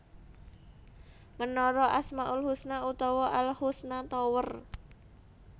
Menara Asmaul Husna utawa Al Husna Tower